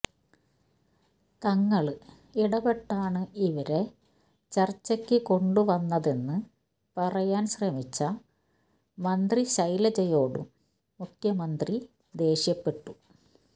തങ്ങള് ഇടപെട്ടാണ് ഇവരെ ചര്ച്ചയ്ക്ക് കൊണ്ടുവന്നതെന്ന് പറയാന്ശ്രമിച്ച മന്ത്രി ശൈലജയോടും മുഖ്യമന്ത്രി ദേഷ്യപ്പെട്ടു